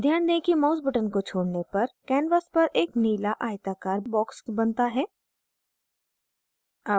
ध्यान दें कि mouse button को छोड़ने पर canvas पर एक नीला आयताकार box बनता है